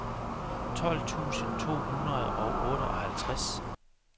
tolv tusind to hundrede og otteoghalvtreds